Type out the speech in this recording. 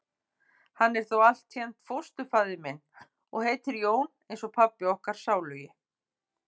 Hann er þó altént fósturfaðir minn. og heitir Jón eins og pabbi okkar sálugi.